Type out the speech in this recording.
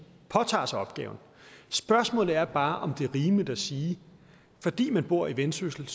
påtager sig opgaven spørgsmålet er bare om det er rimeligt at sige at fordi man bor i vendsyssel